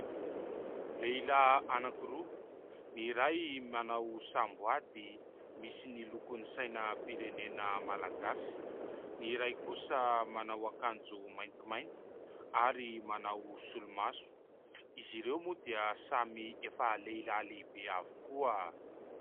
Lehilahy anankiroa : ny iray manao samboady misy ny lokon' ny sainam-pirenena malagasy, ny iray kosa manao akanjo maintimainty ary manao solomaso. Izy ireo moa dia samy efa lehilahy lehibe avokoa.